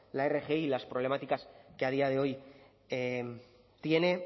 la rgi y las problemáticas que a día de hoy tiene